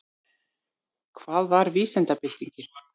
Hvað var vísindabyltingin?